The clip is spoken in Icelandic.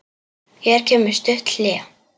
Hér kemur stutt hlé.